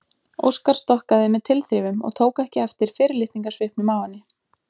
Óskar stokkaði með tilþrifum og tók ekki eftir fyrirlitningarsvipnum á henni.